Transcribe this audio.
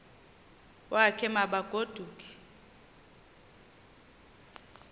wakhe ma baoduke